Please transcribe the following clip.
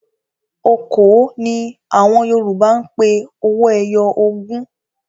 "Okòó" ni àwọn Yorùbá ń pe owó ẹyọ ogún.